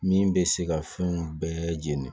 Min bɛ se ka fɛnw bɛɛ jeni